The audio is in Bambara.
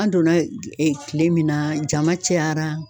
An donna e kile min na jama cayara